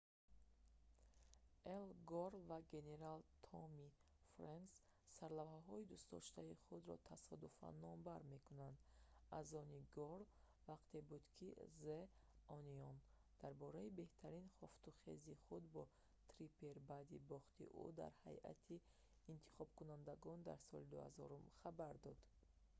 эл гор ва генерал томми фрэнкс сарлавҳаҳои дӯстдоштаи худро тасодуфан номбар мекунанд аз они гор вақте буд ки the onion дар бораи беҳтарин хуфтухези худ бо триппер баъди бохти ӯ дар ҳайати интихобкунандагон дар соли 2000 хабар дод